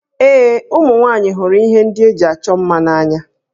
Ee, ụmụ nwaanyị hụrụ ihe ndị eji achọ mma n'anya